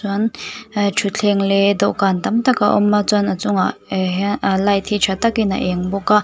chuan ehh thutthleng leh dawhkan tam tak a awm a chuan a chungah ehh hian ahh light hi tha takin a eng bawk a.